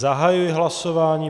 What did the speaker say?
Zahajuji hlasování.